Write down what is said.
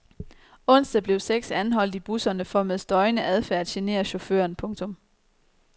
Onsdag blev seks anholdt i busserne for med støjende adfærd at genere chaufføren. punktum